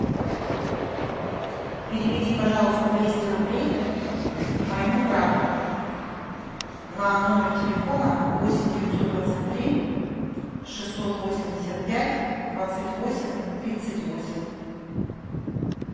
переведи пожалуйста двести рублей моему брату на номер телефона восемь девятьсот двадцать три шестьсот восемьдесят пять двадцать восемь тридцать восемь